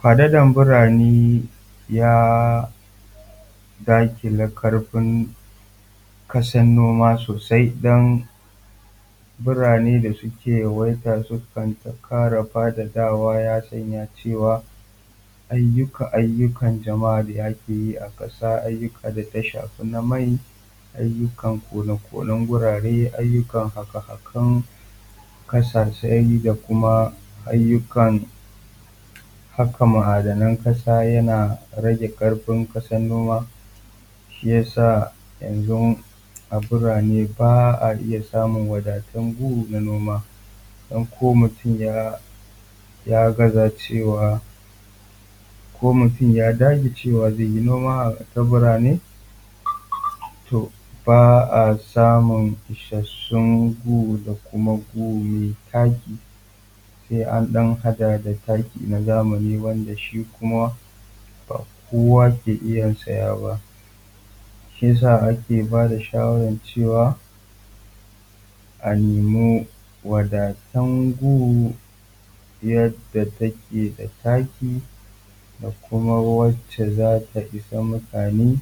Faɗaɗan burane ya daƙile kan ƙarfin ƙasar noma sosai ɗan burane da suke yawaita sukan ta ƙara faɗaɗawa ya sa cewa ayyuka ayyukan jama'a da ake yi a ƙasa ayyukan da suka shafi na mai, ayyukan kone-konen gurare, ayyukan haƙe-haken ƙasa da kuma ayyukan haƙa ma'adanan ƙasa yana rage ƙarfi kasar noma shi ya sa yanzu a burane ba a iya samun wadatun gurin na noma, din ko mutum ya gaza cewa, ko mutun ya dage cewa zaiyi noma ta burane ba a samun isassun gu da kuma gu mai taki sai an haɗa da takin zamani wanda kuma ba kowa kai iya saya ba. Shi ya sa ake ba da shawarar cewa a nema wadatun gun yadda take da taki da kuma wacce za ta ishe mutane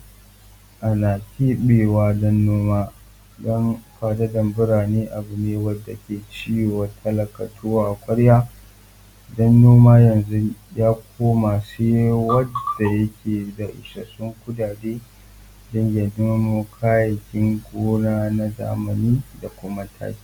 ana keɓewa don noma, don faɗaɗan burane abu ne wanda yake ci wa talaka tuwo a kwarya don noma yanzu ya koma zai wanda yake da isassun kuɗaɗe don ya nemo kayayyakin noma na zamani da kuma taki.